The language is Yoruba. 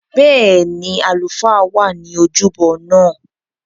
Bẹ́ẹ̀ni, àlùfáà wà ní ojúbọ náà